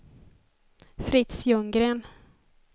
Fritz Ljunggren